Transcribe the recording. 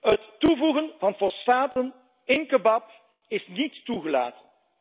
Het toevoegen van fosfaten in kebab is niet toegelaten.